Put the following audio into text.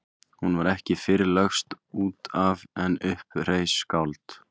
Hún var ekki fyrr lögst út af en upp reis skáld.